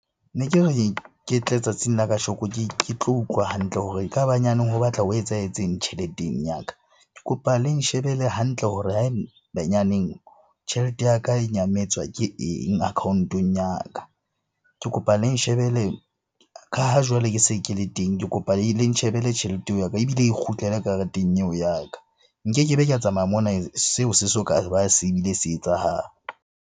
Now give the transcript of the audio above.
Ne ke re ke tle tsatsing la kasheko ke tlo utlwa hantle hore e ka ba nyaneng ho batla ho etsahetseng tjheleteng ya ka. Ke kopa le nshebele hantle hore ha e be nyaneng tjhelete ya ka e nyametswa ke eng account-ong ya ka? Ke kopa le nshebele ka ha jwale ke se ke le teng, ke kopa le nshebele tjhelete eo ya ka ebile e kgutlele kareteng eo ya ka. Nkekebe ka tsamaya mona seo se soka ba se bile se etsahala.